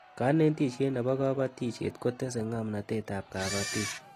kanetishiet nebo kabatishiet kotese ngamnatet ab kabatik